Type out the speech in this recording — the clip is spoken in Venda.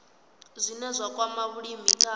zwine zwa kwama vhulimi kha